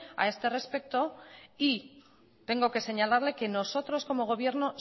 a este respecto y tengo que señalarle que nosotros como gobierno